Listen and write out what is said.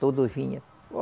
Todos vinha.